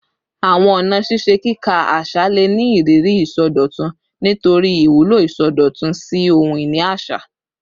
Awọn ọna ṣiṣe kika aṣa le ni iriri isọdọtun nitori iwulo isọdọtun si ohun-ini aṣa